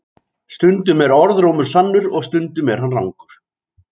Stunum er orðrómur sannur og stundum er hann rangur.